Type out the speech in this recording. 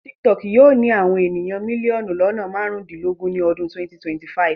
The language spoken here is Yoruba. TikTok yóò ní àwọn ènìyàn mílíọ̀nù lọ́nà marundinlogun ni ọdún 2025.